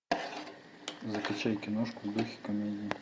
закачай киношку в духе комедии